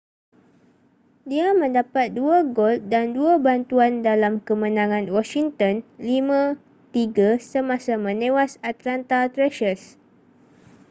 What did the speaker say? dia mendapat 2 gol dan 2 bantuan dalam kemenangan washington 5-3 semasa menewas atlanta thrashers